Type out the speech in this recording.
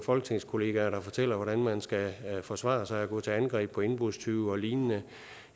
folketingskollegaer der fortæller hvordan man skal forsvare sig og gå til angreb på indbrudstyve og lignende